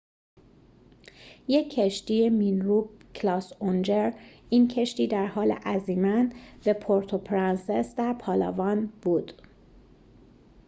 یک کشتی مین‌روب کلاس اونجر این کشتی در حال عزیمت به پورتوپرنسس در پالاوان بود